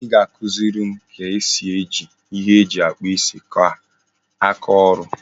I ga-akụziri m ka ezi eji ihe eji akpu isi ka aka oru?